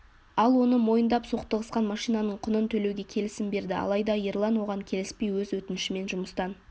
ол оны мойындап соқтығысқан машинаның құнын төлеуге келісім берді алайда ерлан оған келіспей өз өтінішімен жұмыстан